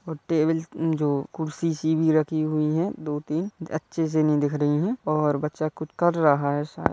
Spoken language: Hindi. --और टेबल जो कुर्सी सी भी रखी हुई है दो तीन अच्छे से नहीं दिख रही है और बच्चा कुछ कर रहा है शा --